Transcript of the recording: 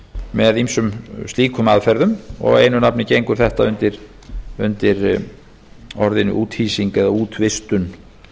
með ýmsum slíkum aðferðum og einu nafni gengur þettaa undir orðinu úthýsing eða útvistun